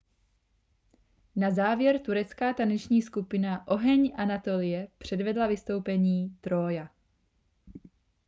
"na závěr turecká taneční skupina oheň anatolie předvedla vystoupení "trója"".